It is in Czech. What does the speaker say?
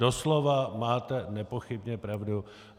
Doslova máte nepochybně pravdu.